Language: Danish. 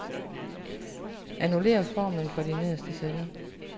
Annullér formlen for de nederste celler.